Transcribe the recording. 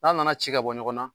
F'a nana ci ka bɔ ɲɔgɔnna